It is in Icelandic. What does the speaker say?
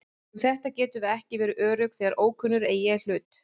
Um þetta getum við ekki verið örugg þegar ókunnugir eiga í hlut.